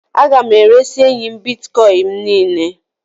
A ga m eresị enyi m Bịtkọin m niile